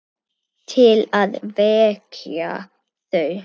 Til að vekja þau.